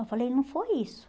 Eu falei, não foi isso.